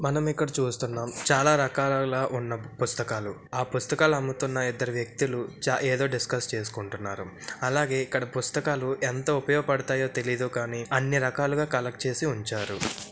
మనం ఇక్కడ చూస్తున్నాం చాలా రకాలల ఉన్న పుస్తకాలు. ఆ పుస్తకాలు అమ్ముతున్న ఇద్దరు వ్యక్తులు చా ఏదో డిస్కస్ చేసుకుంటున్నారు. అలాగే ఇక్కడ పుస్తకాలు ఎంతో ఉపయోగపడతాయో తెలీదు కానీ అన్ని రకాలుగా కల్లెక్ట్ చేసి ఉంచారు.